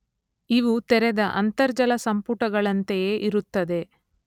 ಇವು ತೆರೆದ ಅಂತರ್ಜಲ ಸಂಪುಟಗಳಂತೆಯೇ ಇರುತ್ತದೆ.